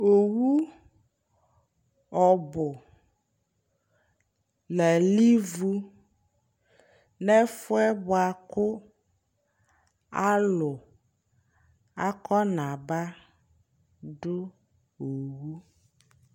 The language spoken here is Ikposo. Owʋ ɔbʋ nʋ ayʋ ivʋ nʋ ɛfʋe bʋakʋ alʋ akɔna ba dʋ owʋ